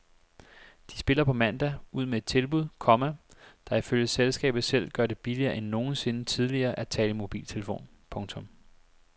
De spiller på mandag ud med et tilbud, komma der ifølge selskabet selv gør det billigere end nogensinde tidligere at tale i mobiltelefon. punktum